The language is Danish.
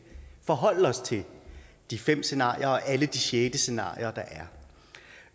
forholde os til de fem scenarier og alle de sjette scenarier der